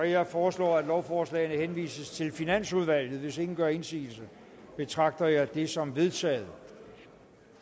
jeg foreslår at lovforslagene henvises til finansudvalget hvis ingen gør indsigelse betragter jeg det som vedtaget